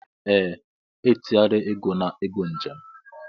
Ee, etinyele ego na ego njem